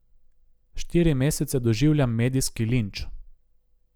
Štiri mesece doživljam medijski linč.